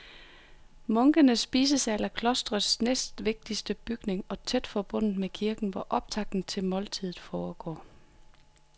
Munkenes spisesal er klostrets næstvigtigste bygning og tæt forbundet med kirken, hvor optakten til måltidet foregår.